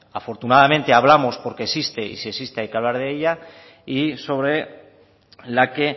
afortunadamente hablamos porque existe y si existe hay que hablar de ello y sobre la que